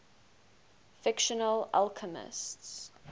fictional alchemists